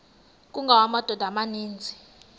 kungawa amadoda amaninzi